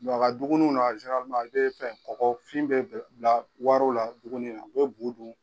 u ka duguniw na i bɛ fɛn kɔkɔfin bɛ wariw la duguni na u bɛ buu dun.